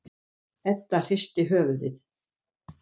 Edda hristir höfuðið.